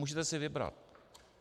Můžete si vybrat.